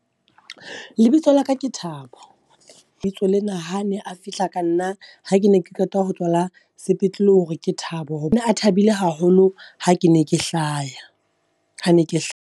Lebitso La ka ke Thabo, lebitso lena ha ne a fihla ka nna ha ke ne ke qeta ho tswala sepetlele hore ke Thabo. Ho ne a thabile haholo ha ke ne ke hlaya, ha ne ke .